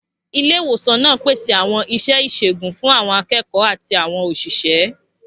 Ilé ìwòsàn náà pèsè àwọn iṣẹ́ ìṣègùn fún àwọn akẹ́kọ̀ọ́ àti àwọn òṣìṣẹ́.